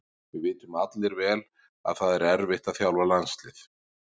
Við vitum allir vel að það erfitt að þjálfa landslið.